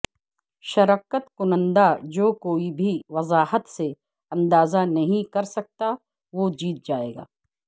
شرکت کنندہ جو کوئی بھی وضاحت سے اندازہ نہیں کرسکتا وہ جیت جائے گا